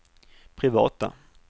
privata